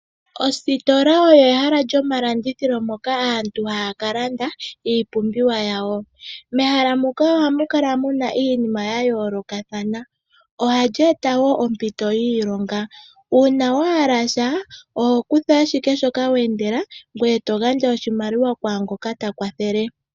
Oositola olyo ehala lyoma landithilo moka aantu haya ka landa iipumbiwa nayo, mehala muka ohamu kala muna iinima ya yoolokathana. Ohali eta wo ompito yiilonga. Uuna wahala sha oho kutha ashike shoka wa endela ngoye eto gandja oshimaliwa kwaangoka ta kwathele.